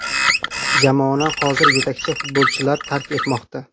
Jamoani hozir yetakchi futbolchilar tark etmoqda.